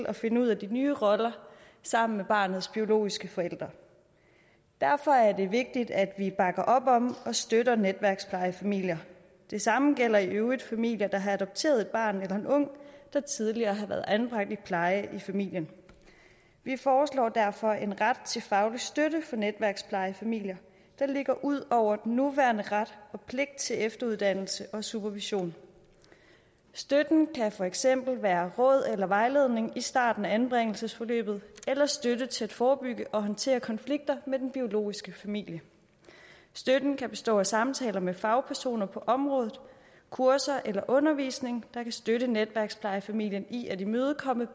at finde ud af de nye roller sammen med barnets biologiske forældre derfor er det vigtigt at vi bakker op om og støtter netværksplejefamilier det samme gælder i øvrigt familier der har adopteret et barn eller en ung der tidligere har været anbragt i pleje i familien vi foreslår derfor en ret til faglig støtte for netværksplejefamilier der ligger ud over den nuværende ret og pligt til efteruddannelse og supervision støtten kan for eksempel være råd eller vejledning i starten af anbringelsesforløbet eller støtte til at forebygge og håndtere konflikter med den biologiske familie støtten kan bestå af samtaler med fagpersoner på området kurser eller undervisning der kan støtte netværksplejefamilien i at imødekomme